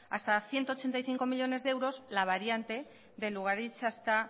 hasta ciento ochenta y cinco millónes euros la variante de lugaritz hasta